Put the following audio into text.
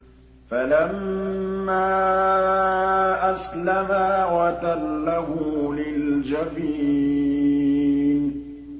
فَلَمَّا أَسْلَمَا وَتَلَّهُ لِلْجَبِينِ